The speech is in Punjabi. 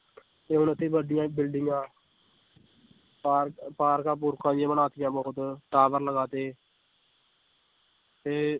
ਤੇ ਹੁਣ ਇੱਥੇ ਵੱਡੀਆਂ ਬਿਲਡਿੰਗਾਂ ਪਾਰ ਪਾਰਕਾਂ ਪੂਰਕਾਂ ਵੀ ਬਣਾ ਦਿੱਤੀਆਂ ਬਹੁਤ tower ਲਗਾ ਦਿੱਤੇ ਤੇ